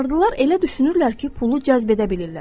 Vardılar elə düşünürlər ki, pulu cəzb edə bilirlər.